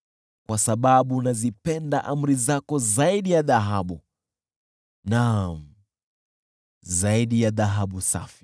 Kwa sababu nazipenda amri zako zaidi ya dhahabu, naam, zaidi ya dhahabu safi,